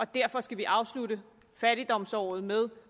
derfor skal afslutte fattigdomsåret med